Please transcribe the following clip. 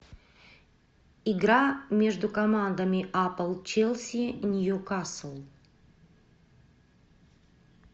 игра между командами апл челси ньюкасл